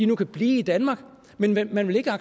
nu kan blive i danmark men at man ikke